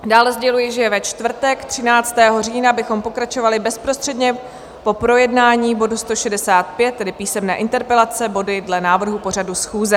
Dále sděluji, že ve čtvrtek 13. října bychom pokračovali bezprostředně po projednání bodu 165, tedy písemné interpelace, body dle návrhu pořadu schůze.